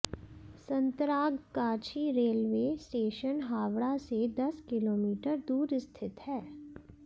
Santragachi railway station Howrah से दस kilometre दूर स्थित है